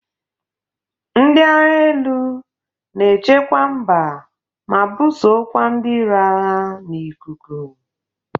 Ndị agha elu na echekwa mba ma bụsokwa ndị iro agha n'ikuku.